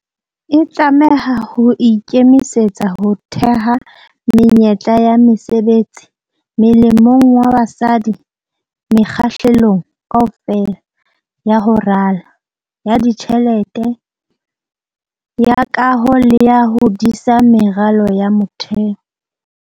E tlameha ho ikemisetsa ho theha menyetla ya mesebetsi molemong wa basadi mekga-hlelong kaofela ya ho rala, ya ditjhelete, ya kaho le ya ho disa meralo ya motheo.